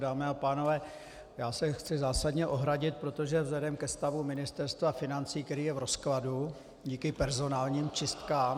Dámy a pánové, já se chci zásadně ohradit, protože vzhledem ke stavu Ministerstva financí, které je v rozkladu díky personálním čistkám...